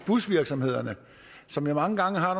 busvirksomhederne som jo mange gange har